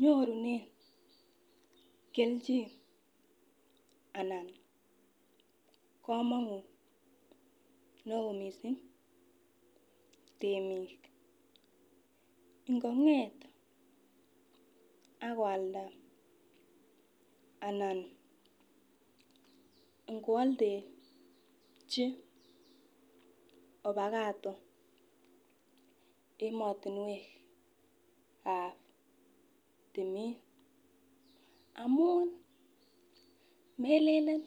Nyorunen kelchin anan komonut neoo missing temiik ngonget akoalda ana ngoaldechi ovacado emotinwek ab timin amun melenen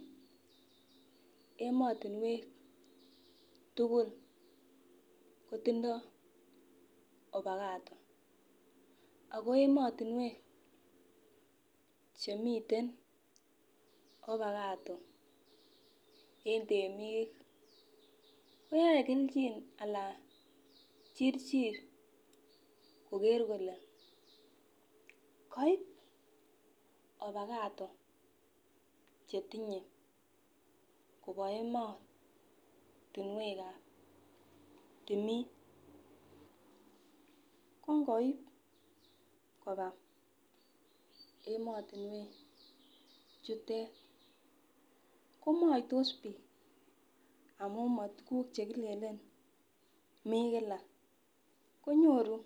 emotinwek tugul kotindoo ovacado ako emotinwek chemiten ovacado en temiik koyoe kelchin alan chirchir koker kole koib ovacado chetinye koba emotinwek ab timin ko ngoib koba emotinwek chutet komoitos biik amun mo tuguk chekilenen mii kila konyoru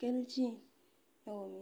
kelchin neoo missing